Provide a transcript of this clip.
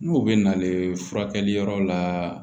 N'o bɛ nalen furakɛli yɔrɔ la